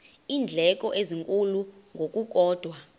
iindleko ezinkulu ngokukodwa